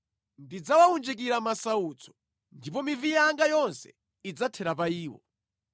“Ndidzawawunjikira masautso ndipo mivi yanga yonse idzathera pa iwo.